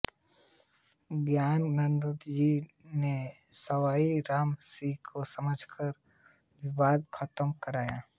ज्ञानानंदजी ने सवाई रामसिंह को समझाकर विवाद खत्म कराया